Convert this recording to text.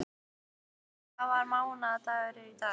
Lily, hvaða mánaðardagur er í dag?